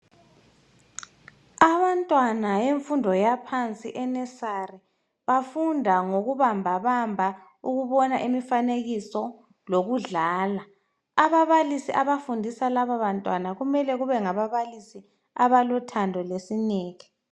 Abantwana bemfundo yaphansi e nursery bafunda ngokubambabamba, ukubona imifanekiso lokudlala. Ababalisi abafundisa laba bantwana kumele kube ngababalisi abalothando lesineke